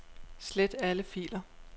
Slet alle filer.